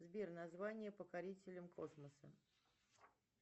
сбер название покорителям космоса